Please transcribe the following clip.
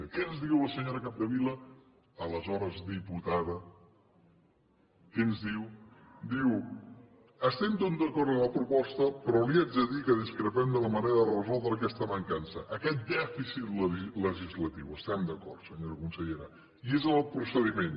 què ens diu la senyora capdevila aleshores diputada què ens diu diu estem tots d’acord en la proposta però li haig de dir que discrepem de la manera de resoldre aquesta mancança aquest dèficit legislatiu hi estem d’acord senyora consellera i és en el procediment